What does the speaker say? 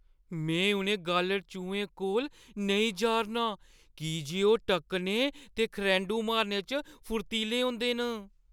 में उ'नें गालढ़-चूहें कोल नेईं जा' रना आं की जे ओह् टक्कने ते खरैंढू मारने च फुरतीले होंदे न।